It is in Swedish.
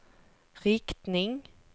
riktning